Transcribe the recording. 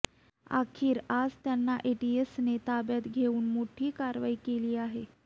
अखेर आज त्यांना एटीएसने ताब्यात घेऊन मोठी कारवाई केली आहे